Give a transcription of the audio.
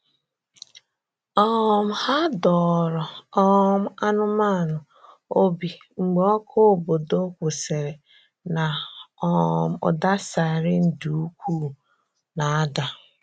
um Hà dọ̀ọrọ um anụ́manụ obi mgbe ọkụ̀ obodo kwụsịrị̀ na um ụda siren dị ukwuù na-ada.